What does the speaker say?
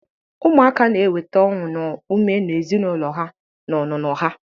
Ụmụaka na-eweta ọṅụ na ume na ezinụlọ ha na ọnụnọ ha.